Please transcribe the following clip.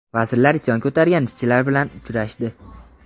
Vazirlar isyon ko‘targan ishchilar bilan uchrashdi.